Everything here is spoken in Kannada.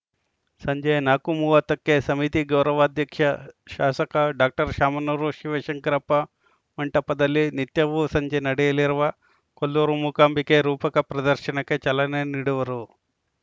ಸಂಜೆ ನಾಲ್ಕು ಮೂವತ್ತ ಕ್ಕೆ ಸಮಿತಿ ಗೌರವಾಧ್ಯಕ್ಷ ಶಾಸಕ ಡಾಕ್ಟರ್ ಶಾಮನೂರು ಶಿವಶಂಕರಪ್ಪ ಮಂಟಪದಲ್ಲಿ ನಿತ್ಯವೂ ಸಂಜೆ ನಡೆಯಲಿರುವ ಕೊಲ್ಲೂರು ಮೂಕಾಂಬಿಕೆ ರೂಪಕ ಪ್ರದರ್ಶನಕ್ಕೆ ಚಾಲನೆ ನೀಡುವರು